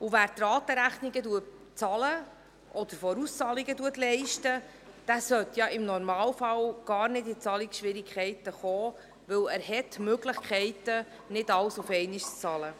Wer die Ratenrechnungen bezahlt oder Vorauszahlungen leistet, sollte im Normalfall gar nicht in Zahlungsschwierigkeiten kommen, denn er hat die Möglichkeit, nicht alles auf einmal zu bezahlen.